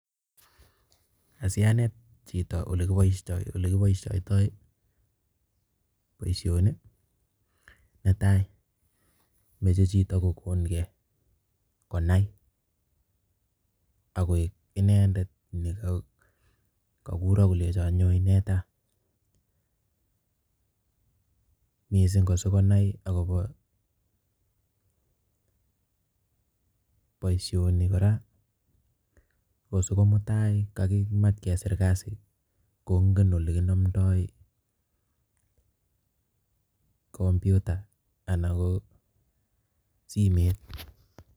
Asianet chito ole kiboistoi ole kiboisiotoi boisioni, netai, moche chito kogonkei konai agoek inendet ne kaguro kolenjo nyon ineta. Missing ko sigonai akobo boisioni kora ko sigo mutai akimach kesir kasi kongen oli kinomdoi computer anan ko simet.